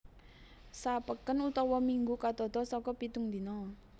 Sa peken utawa minggu katata saka pitung dina